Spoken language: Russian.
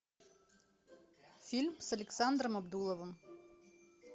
фильм с александром абдуловым